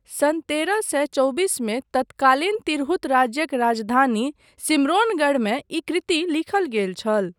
सन् तेरह सए चौबीसमे तत्कालिन तिरहुत राज्यक राजधानी सिम्राैनगढ़मे ई कृति लिखल गेल छल।